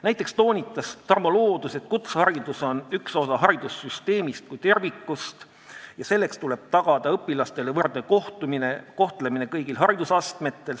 Näiteks toonitas Tarmo Loodus, et kutseharidus on üks osa haridussüsteemist kui tervikust ja tuleb tagada õpilastele võrdne kohtlemine kõigil haridusastmetel.